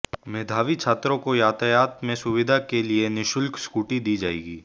मेधावी छात्राओं को यातायात में सुविधा के लिए निशुल्क स्कूटी दी जाएगी